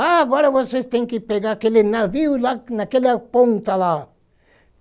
Ah, agora vocês têm que pegar aquele navio lá naquela ponta lá.